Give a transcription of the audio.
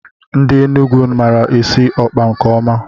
Ndị Enugu maara esi ọkpa nke ọma